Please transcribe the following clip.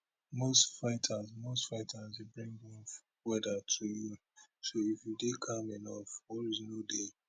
most fighters most fighters dey bring rough weather to you so if you dey calm enough worries no dey